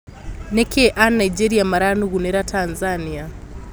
Nĩ kĩĩ a nigeria maranugunĩra Tanzania?